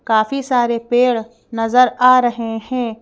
काफी सारे पेड़ नजर आ रहे है।